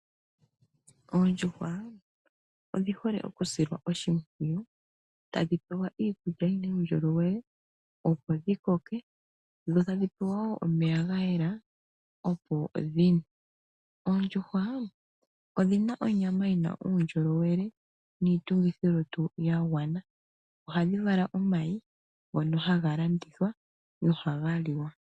Oondjuhwa odhi hole okusilwa oshimpwiyu, tadhi pewa iikulya yi na uundjolowele opo dhi koke dho tadhi pewa woo omeya ga yela opo dhi nwe. Oondjuhwa odhi na onyama yi na uundjolowele niitungithilutu ya gwana. Ohadhi vala omayi ngono haga landithwa nohaga liwa.